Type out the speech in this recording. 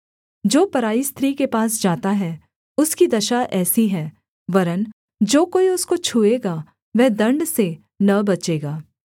जो पराई स्त्री के पास जाता है उसकी दशा ऐसी है वरन् जो कोई उसको छूएगा वह दण्ड से न बचेगा